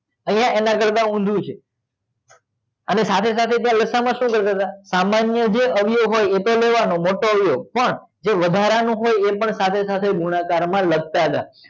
આય એના કરતાં ઊંધું છે અને સાથે સાથે લસાઅ માં સુ કરતાં સામાન્ય જે અવયવો હોય ઈ લેવાનો પણ જે વધારાનું હોય ઈ પણ સાથે સાથે ગુણાકાર માં લખતા તા